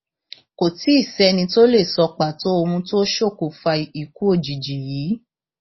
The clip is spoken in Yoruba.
kò tì í sẹni tó lè sọ pàtó ohun tó ṣokùnfà ikú òjijì yìí